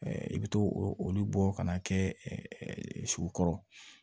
i bɛ t'o olu bɔ ka n'a kɛ su kɔrɔ